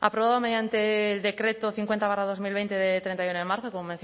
aprobado mediante el decreto cincuenta barra dos mil veinte de treinta y uno de marzo como